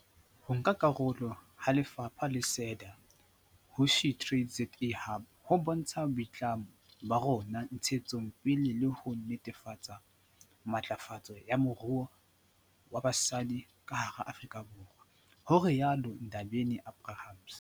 "Ho nka karolo ha lefapha le SEDA ho SheTradesZA Hub ho bontsha boitlamo ba rona ntshetsong pele le ho netefatsa matlafatso ya moruo wa basadi ka hara Afrika Borwa," ho rialo Ndabeni-Abrahams.